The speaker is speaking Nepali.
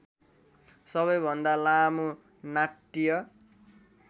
सबैभन्दा लामो नाट्य